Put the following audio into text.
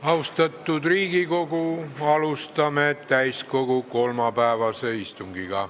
Austatud Riigikogu, alustame täiskogu kolmapäevast istungit.